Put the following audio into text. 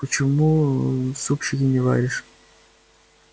почему супчики не варишь